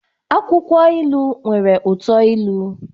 Akwukwo ilu nwere uto ilu